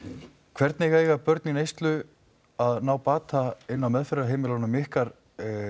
hvernig eiga börn í neyslu að ná bata inni á meðferðarheimilunum ykkar